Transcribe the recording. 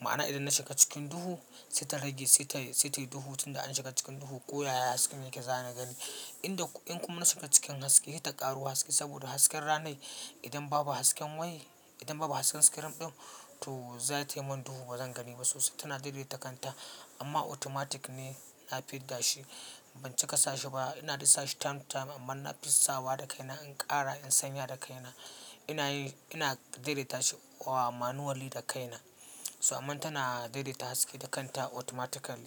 ma'ana idan na shiga cikin duhu sai ta rage, sai tayi duhu tunda na shiga cikin duhu ko yaya hasken yake zana gani. Inda in kuma na shiga cikin haske, ita ta ƙaro haske saboda hasken ranai idan babu hasken wai, idan babu hasken screen ɗin to za tayi min duhu ba zan gani ba. Sosai tana daidaita kanta amma automatic ne na fidda shi. Ban cika sashi ba, ina dai sashi time to time amma nafi sawa da kaina in ƙara in sanya da kaina. Ina yi, ina daidaita shi wa manually da kaina. So amma tana daidaita haske da kanta automatic an fa.